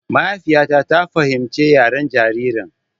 Mahaifiyata ta fahimci yaren jaririn.